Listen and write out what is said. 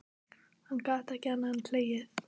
Hann gat ekki annað en hlegið.